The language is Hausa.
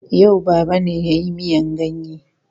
Yau Baba ne ya yi miyan ganye.